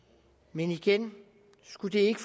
men igen skulle det ikke